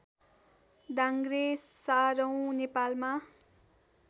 डाङ्ग्रे सारौँ नेपालमा